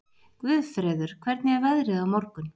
Guðfreður, hvernig er veðrið á morgun?